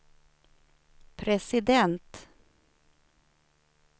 president